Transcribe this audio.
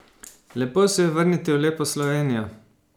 Lepo se je vrniti v lepo Slovenijo.